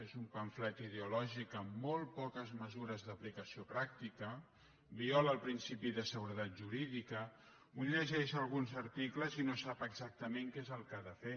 és un pamflet ideo lògic amb molt poques mesures d’aplicació pràctica viola el principi de seguretat jurídica un llegeix alguns articles i no sap exactament què és el que ha de fer